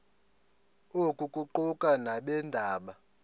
oku kuquka nabeendaba